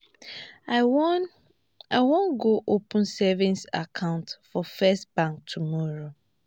i wan i wan go open savings account for first bank tomorrow